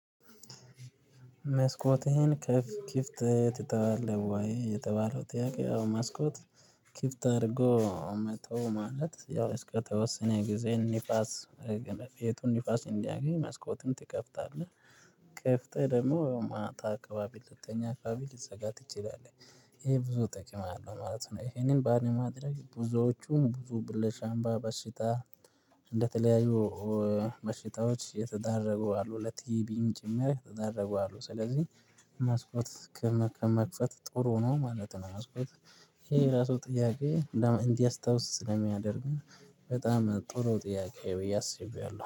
"መስኮትህን ክፍ ክፍት ትተዋለህ ወይ?" የተባለው ጥያቄ ያው መስኮት ኪፍት አድርጎ መተው ማለት ያው እስከተወሰነ ጊዜ ኒፋስ በቅን ቤቱ ንፋስ እንዲያገኝ መስኮቱን ትከፍታለህ። ከፍተ ደግሞ ማታ አካባቢ ልተኛ አካባቢ ሊዘጋ ትችላለህ። ይሄ ብዙ ጥቅም አለው ማለት ነው። ይሄንን ባለማድረግ ብዙዎቹ ብዙ ብል ለሳምባ በሽታ ለተለያዩ በሽታዎች የተዳረጉ አሉ ለቲቢም ጭምር የተዳረጉ አሉ፤ ስለዚህ መስኮት ከመክፈት ጥሩ ነው ማለት ነው። መስኮት ይሄ ራሱ ጥያቄ እንዲያስታውስ ስለሚያደርግ በጣም ጥሩ ጥያቄ ብዬ አስቤዋለሁ።